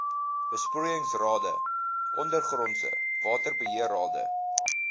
besproeiingsrade ondergrondse waterbeheerrade